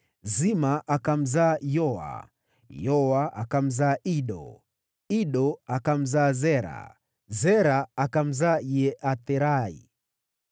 Zima akamzaa Yoa, Yoa akamzaa Ido, Ido akamzaa Zera, Zera akamzaa Yeatherai.